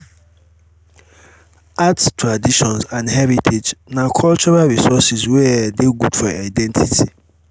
art traditions and heritage na cultural resources wey um de good for identity